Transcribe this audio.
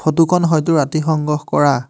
ফটোখন হয়তো ৰাতি সংগ্ৰহ কৰা।